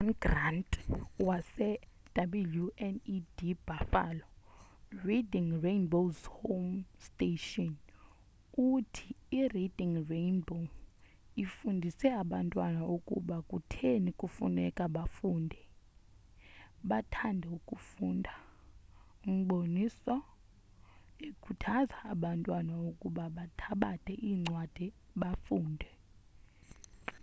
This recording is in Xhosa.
u -john grant wase-wned buffalo reading rainbow's home station uthi : i-reading rainbow ifundise abantwana ukuba kutheni kufuneka bafunde, bathande ukufunda-[umboniso] ekhuthaza abantwana ukuba bathabathe incwadi bafunde.